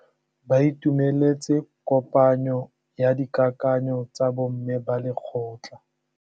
Ba itumeletse kôpanyo ya dikakanyô tsa bo mme ba lekgotla.